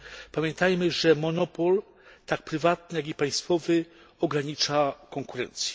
Pamiętajmy, że monopol, tak prywatny, jak i państwowy ogranicza konkurencję.